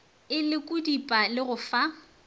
e lekodipa le go fa